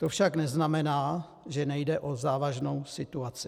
To však neznamená, že nejde o závažnou situaci.